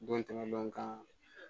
Don tɛmɛn dɔn kan